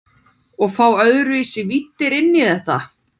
Og fá öðruvísi víddir inn í þetta.